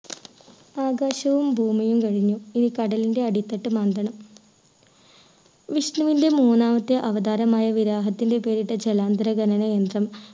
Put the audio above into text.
ആകാശവും ഭൂമിയും കഴിഞ്ഞു. ഇനി കടലിൻ്റെ അടിത്തട്ട് മാന്തണം. വിഷ്ണുവിൻ്റെ മൂന്നാമത്തെ അവതാരമായ വിരാഹത്തിൻ്റെ പേരിട്ട ജലാന്തര ഖനന യന്ത്രം